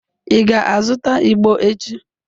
Ị ga-azụta igbo echi?